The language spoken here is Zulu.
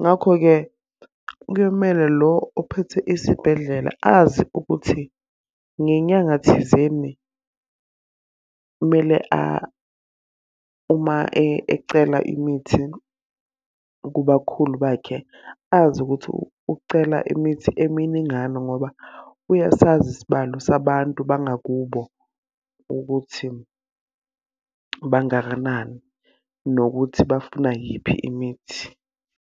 Ngakho-ke kuyomele lo ophethe isibhedlela azi ukuthi ngenyanga thizeni kumele uma ecela imithi kubakhulu bakhe, azi ukuthi ucela imithi eminingana. Ngoba uyasazi isibalo sabantu bangakubo ukuthi bangakanani nokuthi bafuna yiphi imithi.